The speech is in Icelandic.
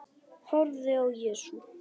Horfði á Jesú.